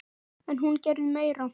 En hún gerði meira.